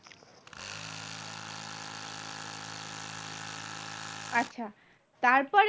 আচ্ছা তারপর